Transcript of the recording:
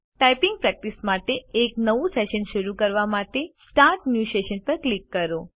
typing practice માટે એક નવું સેશન શરૂ કરવા માટે સ્ટાર્ટ ન્યૂ સેશન પર ક્લિક કરો